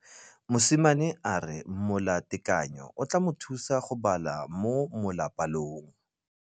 Mosimane a re molatekanyô o tla mo thusa go bala mo molapalong.